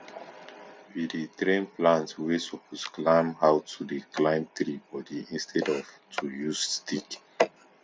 we dey train plant wey suppose climb how to dey climb tree body instead of to use stick